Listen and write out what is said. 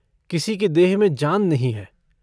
किसी की देह में जान नहीं है।